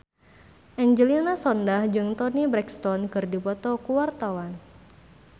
Angelina Sondakh jeung Toni Brexton keur dipoto ku wartawan